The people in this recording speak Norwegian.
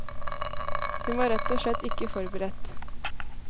Hun var rett og slett ikke forberedt.